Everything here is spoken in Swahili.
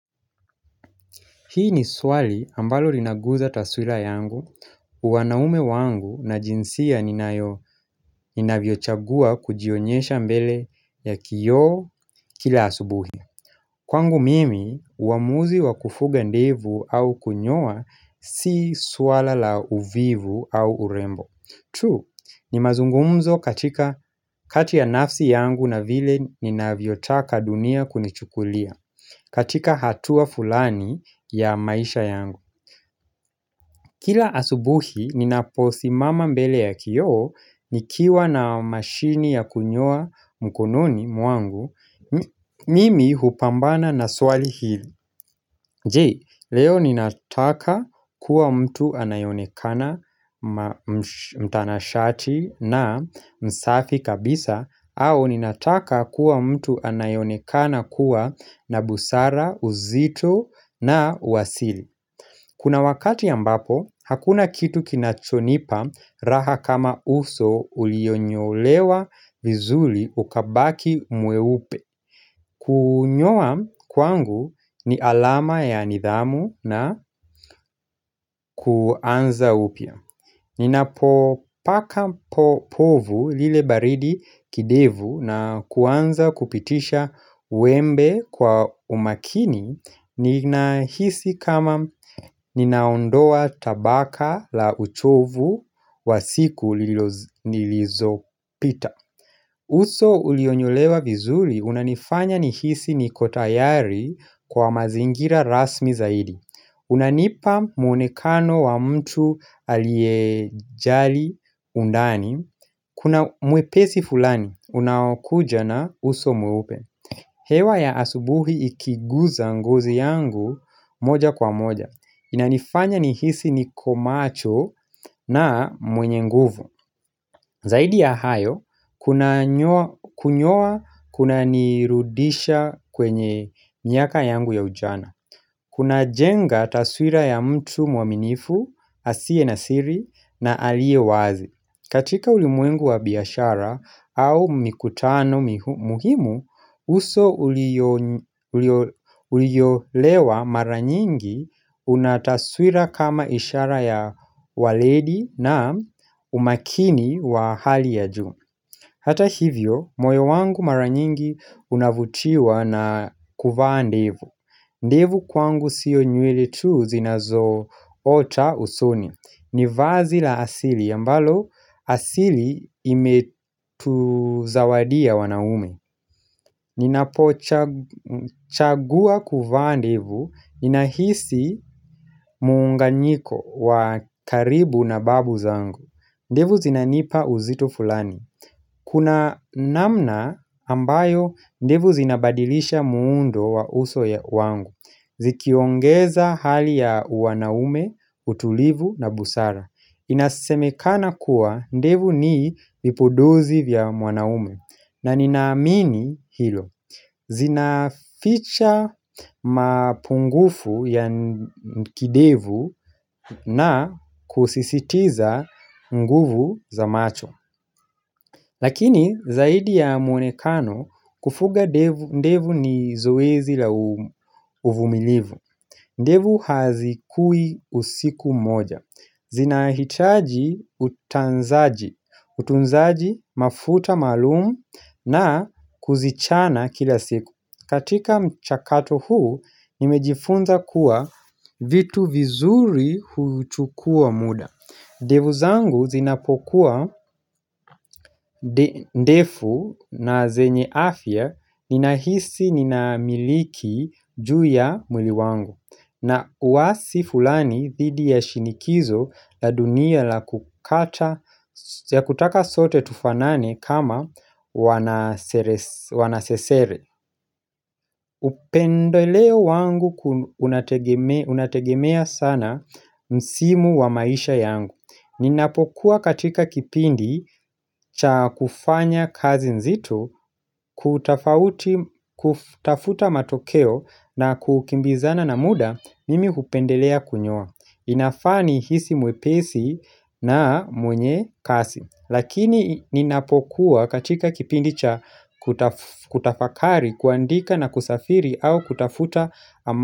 Hii ni swali ambalo linaguza taswira yangu, uwanaume wangu na jinsia ninayo ni navyochagua kujionyesha mbele ya kioo kila asubuhi. Kwangu mimi, uamuzi wa kufuga ndevu au kunyowa si swala la uvivu au urembo. Tu ni mazungumzo katika kati ya nafsi yangu na vile ni navyotaka dunia kunichukulia katika hatua fulani ya maisha yangu. Kila asubuhi, ninapo simama mbele ya kioo, nikiwa na mashini ya kunyoa mkononi mwangu, mimi hupambana na swali hili. Jee, leo ninataka kuwa mtu anayonekana mtanashati na msafi kabisa, au ninataka kuwa mtu anayenekana kuwa na busara, uzito na uwasili. Kuna wakati ambapo, hakuna kitu kinachonipa raha kama uso uliyonyolewa vizuli ukabaki mweupe. Kunyoa kwangu ni alama ya nidhamu na kuanza upya. Ninapo paka povu lile baridi kidevu na kuanza kupitisha wembe kwa umakini ni nahisi kama ninaondoa tabaka la uchovu wa siku nilizo pita uso ulionyolewa vizuri unanifanya nihisi nikotayari kwa mazingira rasmi zaidi unanipa mwonekano wa mtu aliejali undani Kuna mwepesi fulani, unaokuja na uso mweupe hewa ya asubuhi ikiguza ngozi yangu moja kwa moja Inanifanya nihisi nikomacho na mwenye nguvu Zaidi ya hayo, kunyowa kunanirudisha kwenye miaka yangu ya ujana Kuna jenga taswira ya mtu mwaminifu, asie na siri na alie wazi. Katika ulimwengu wa biyashara au mikutano muhimu, uso uliyolewa maranyingi unataswira kama ishara ya waledi na umakini wa hali ya juu. Hata hivyo, moyo wangu maranyingi unavutiwa na kuvaa ndevu. Ndevu kwangu sio nywele tu zinazo ota usoni ni vazi la asili ambalo asili imetu zawadia wanaume Ninapo chagua kuvaa ndevu ninahisi muunganyiko wa karibu na babu zangu ndevu zinanipa uzito fulani Kuna namna ambayo ndevu zinabadilisha muundo wa uso ya wangu Zikiongeza hali ya uwanaume, utulivu na busara Inasemekana kuwa ndevu ni vipodozi vya wanaume na ninaamini hilo Zinaficha mapungufu ya kidevu na kusisitiza nguvu za macho Lakini zaidi ya mwonekano kufuga ndevu ni zoezi la uvumilivu ndevu hazikui usiku moja, zinahitaji utanzaji, utunzaji mafuta maalumu na kuzichana kila siku katika mchakato huu, nimejifunza kuwa vitu vizuri huyuchukua muda ndevu zangu zinapokuwa ndefu na zenye afya, ninahisi ninamiliki juu ya mwili wangu na wasi fulani dhidi ya shinikizo la dunia la kukata ya kutaka sote tufanane kama wanasesere Upendoleo wangu unategemea sana msimu wa maisha yangu Ninapokuwa katika kipindi cha kufanya kazi nzito kutafuta matokeo na kukimbizana na muda mimi hupendelea kunyoa inafaa nihisi mwepesi na mwenye kasi Lakini ninapokuwa katika kipindi cha kutafakari kuandika na kusafiri au kutafuta amatika.